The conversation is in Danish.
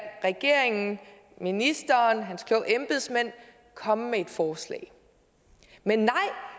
regeringen ministeren og hans kloge embedsmænd komme med et et forslag men